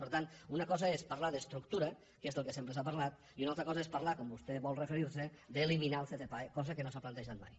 per tant una cosa és parlar d’estructura que és del que sempre s’ha parlat i una altra cosa és parlar com vostè vol referir se d’eliminar el ccpae cosa que no s’ha plantejat mai